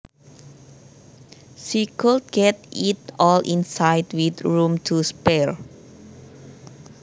She could get it all inside with room to spare